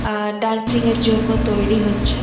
আ dancing -এর জন্য তৈরি হচ্ছে।